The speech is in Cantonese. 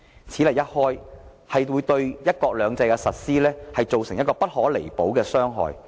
此例一開，將對"一國兩制"的實施造成不可彌補的傷害。